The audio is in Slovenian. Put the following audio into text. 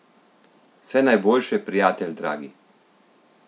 Vse najboljše, prijatelj dragi!